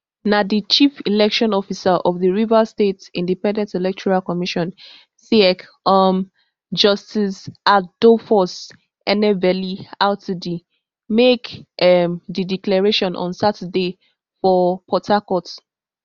na di chief election officer of di rivers state independent electoral commission rsiec um justice adolphus enebeli rtd make um di declaration on saturday for port harcourt